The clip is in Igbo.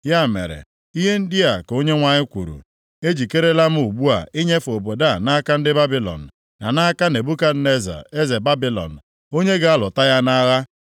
Ya mere, ihe ndị a ka Onyenwe anyị kwuru: Ejikerela m ugbu a inyefe obodo a nʼaka ndị Babilọn, na nʼaka Nebukadneza eze Babilọn, onye ga-alụta ya nʼagha.